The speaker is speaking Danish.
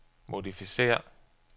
modificér